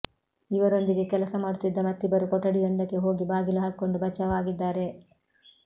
ಇವರೊಂದಿಗೆ ಕೆಲಸ ಮಾಡುತ್ತಿದ್ದ ಮತ್ತಿಬ್ಬರು ಕೊಠಡಿಯೊಂದಕ್ಕೆ ಹೋಗಿ ಬಾಗಿಲು ಹಾಕಿಕೊಂಡು ಬಚಾವ್ ಆಗಿದ್ದಾರೆ